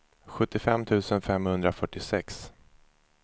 sjuttiofem tusen femhundrafyrtiosex